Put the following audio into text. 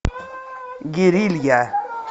герилья